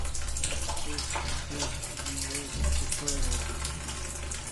тест кейс дженерейтер туториал